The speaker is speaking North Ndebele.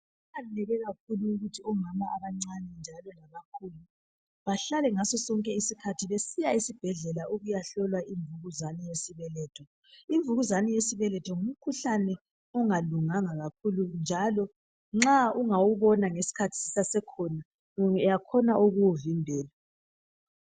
Kuqakatheke kakhulu ukuthi omama abancane njalo labakhulu bahlale ngaso sonke isikhathi besiya esibhedlela ukuyahlolwa imvukuzane yesibeletho. Imvukuzane yesibeletho ngumkhuhlane ongalunganga kakhulu, njalo nxa ungawubona iskhathi sisasekhona, uyenelisa ukuwuvimbela.